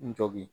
N jɔ bi